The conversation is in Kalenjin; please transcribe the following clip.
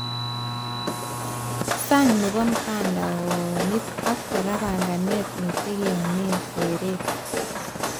Sang nebo mtandaonit ak kora banganet netegeneanee seret